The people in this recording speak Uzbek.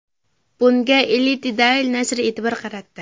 Bunga Elite Daily nashri e’tibor qaratdi .